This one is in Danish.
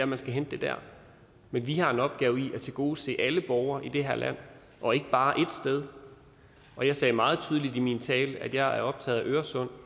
man skal hente det der men vi har en opgave i at tilgodese alle borgere i det her land og ikke bare borgerne ét sted jeg sagde meget tydeligt i min tale at jeg er optaget af øresund